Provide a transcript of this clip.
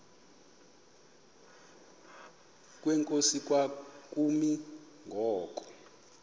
kwenkosi kwakumi ngoku